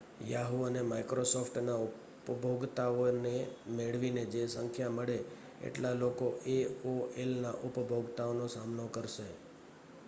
Yahoo અને Microsoft ના ઉપભોગતાઓ ને મેળવીને જે સંખ્યા મળે એટલા લોકો aolના ઉપભોગતાઓનો સામનો કરશે